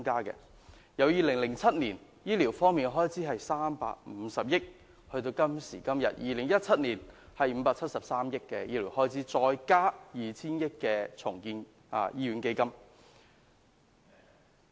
2007年的醫療開支為350億元，而2017年的開支為573億元，還再加上 2,000 億元重建醫院基金。